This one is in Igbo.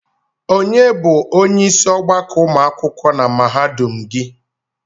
Onye by onyeisi ọgbakọ ụmụ akwụkwọ na mahadum gị?